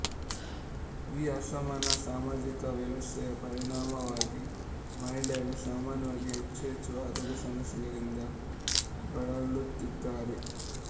ಈ ಅಸಮಾನ ಸಾಮಾಜಿಕ ವ್ಯವಸ್ಥೆಯ ಪರಿಣಾಮವಾಗಿ ಮಹಿಳೆಯರು ಸಾಮಾನ್ಯವಾಗಿ ಹೆಚ್ಚು ಹೆಚ್ಚು ಆರೋಗ್ಯ ಸಮಸ್ಯೆಗಳಿಂದ ಬಳಲುತ್ತಿದ್ದಾರೆ